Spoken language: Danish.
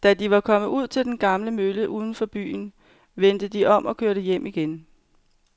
Da de var kommet ud til den gamle mølle uden for byen, vendte de om og kørte hjem igen.